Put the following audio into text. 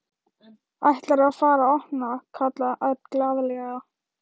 Ætlarðu að fara að opna? kallaði Örn glaðlega.